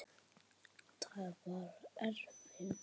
Þar var efinn.